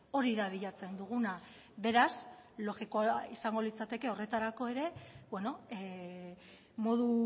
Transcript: hori da bilatzen duguna beraz logikoena izango litzateke horretarako ere bueno modu